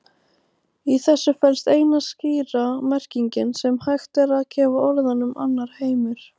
Í þessu felst eina skýra merkingin sem hægt er að gefa orðunum annar heimur.